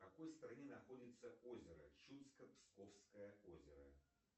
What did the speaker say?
в какой стране находится озеро чудско псковское озеро